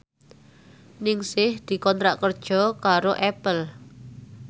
Ningsih dikontrak kerja karo Apple